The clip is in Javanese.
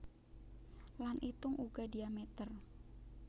Lan itung uga diamètér